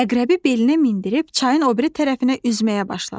Əqrəbi belinə mindirib çayın o biri tərəfinə üzməyə başladı.